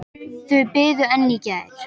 Þau biðu enn í gær.